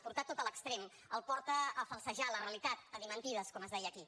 portar ho tot a l’extrem el porta a falsejar la realitat a dir mentides com es deien aquí